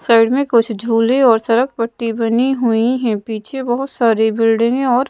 side में कुछ झूले और सड़क पट्टी बनी हुई हैं पीछे बहुत सारी बिल्डिंगे और--